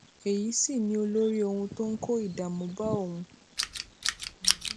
èyí sì ni olórí ohun tó ń kó ìdààmú bá òun